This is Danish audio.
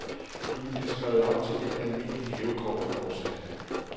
Du kan blive skrevet op til et almindeligt hævekort, fortsatte han